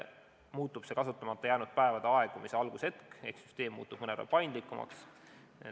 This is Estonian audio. Muutub see kasutamata jäänud päevade aegumise algushetk ehk süsteem muutub mõnevõrra paindlikumaks.